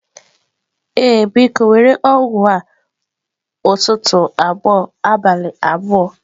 Ee, biko, were ọgwụ a ụtụtụ abụọ abalị abụọ.